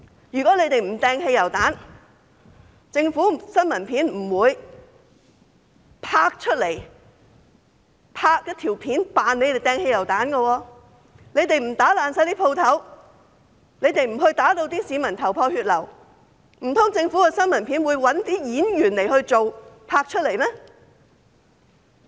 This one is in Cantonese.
如果他們不投擲汽油彈，政府不會拍攝到投擲汽油彈的新聞片；如果他們不破壞商鋪，不把市民打至頭破血流，難道政府的新聞片會找演員拍攝嗎？